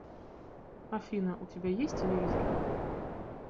афина у тебя есть телевизор